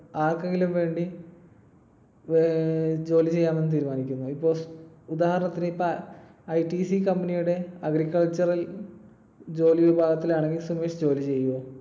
ആർക്കെങ്കിലും വേണ്ടി ഏർ ജോലി ചെയ്യാമെന്ന് തീരുമാനിക്കുമോ? ഇപ്പൊ ഉദാഹരണത്തിന് ഇപ്പൊ ITC company യുടെ agricultural ജോലി വിഭാഗത്തിൽ ആണെങ്കിൽ സുമേഷ് ജോലി ചെയ്യുവോ?